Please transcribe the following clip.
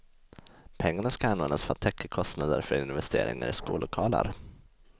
Pengarna ska användas för att täcka kostnader för investeringar i skollokaler.